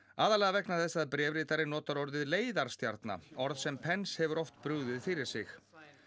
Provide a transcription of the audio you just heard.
aðallega vegna þess að bréfritari notar orðið leiðarstjarna orð sem Pence hefur oft brugðið fyrir sig